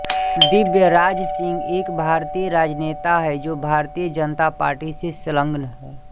दिव्यराज सिंह एक भारतीय राजनेता हैं जो भारतीय जनता पार्टी से संलग्न हैं